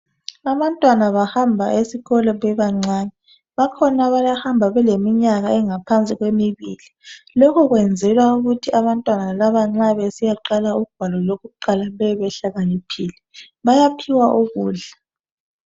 Abantwana bahamba esikolo bebancane. Bakhona abahamba beleminyaka engaphansi kwemibili. Lokho kwenzelwa ukuthi abantwana laba nxa besiyaqala ugwalo lokuqala bebe behlakaniphile. Bayaphiwa ukudla.